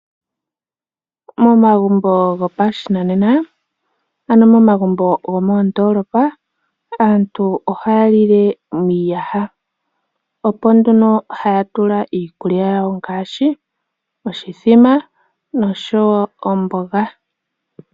Momagumbo gopashinanena, ano omagumbo gomoondolopa aantu ohaya lile miiyaha, opo nduno haya tula iikulya yawo ngaashi oshithima, oshowo omboga.